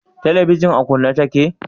Telebijin a kunne ta ke?